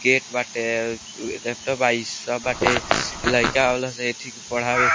Gate बाटे अ-उ laptop बा इ सब बाटे लइका आवेला सन एथी के पढ़ावे।